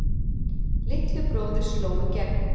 Litli bróðir sló í gegn